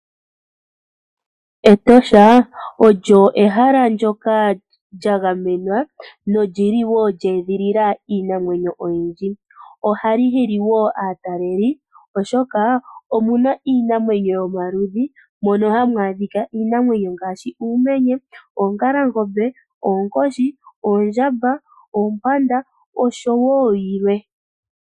Etosha National Park olyo ehala ndyoka lyagamenwa . Ehala ndyoka olyili lyeedhilila iinamwenyo mbika. Ohali hili aatalelipo molwaashoka omuna iinamwenyo yomaludhi ngaashi uumenye, oongalangombe, oonkoshi, oondjamba , oompanda nayilwe.